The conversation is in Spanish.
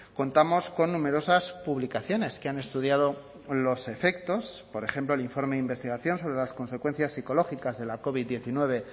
contamos con numerosas publicaciones que han estudiado los efectos por ejemplo el informe de investigación sobre las consecuencias psicológicas de la covid diecinueve